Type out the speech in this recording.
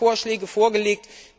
Da haben Sie Vorschläge vorgelegt.